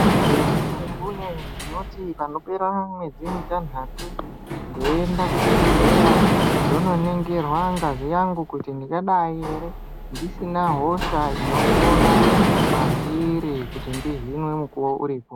Kunyambóyó ndinoti pànopera mwedzi mutanhàtu ndeienda kuchibhedhleya ndononingirwa ngazi yangu kuti tingadai ere ndisina hosha inopona mwandiri kuti ndihinwe mukuwo uripo.